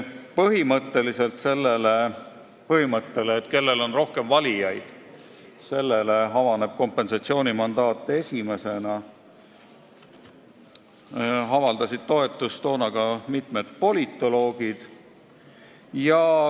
Sellisele põhimõttele, et kellel on rohkem valijaid, sellele avaneb kompensatsioonimandaat esimesena, avaldasid tookord toetust ka mitmed politoloogid.